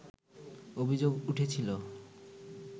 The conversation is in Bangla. অভিযোগ উঠেছিল